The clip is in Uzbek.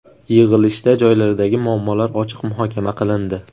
Yig‘ilishda joylardagi muammolar ochiq muhokama qilindi.